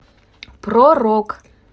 про рок